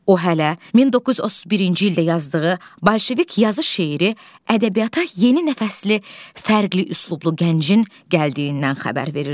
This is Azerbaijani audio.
O hələ 1931-ci ildə yazdığı Bolşevik yazı şeiri ədəbiyyata yeni nəfəsli fərqli üslublu gəncin gəldiyindən xəbər verirdi.